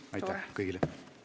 Istungi lõpp kell 13.16.